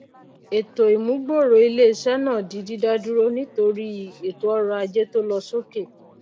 ètò ìmúgbòrò ilé isé náà di dídádúró nítorí ètò ọrò ajé tó lo sókè